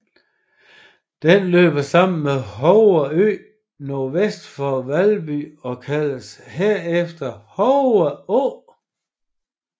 Den løber sammen med Hove Å NV for Vasby og kaldes herefter Hove Å